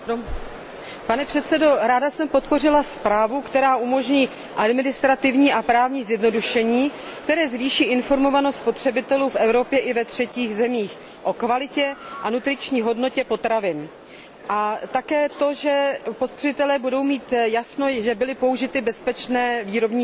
Pane předsedo, ráda jsem podpořila zprávu, která umožní administrativní a právní zjednodušení, které zvýší informovanost spotřebitelů v Evropě i ve třetích zemích o kvalitě a nutriční hodnotě potravin, a také to, že spotřebitelé budou mít jasno, že byly použity bezpečné výrobní metody.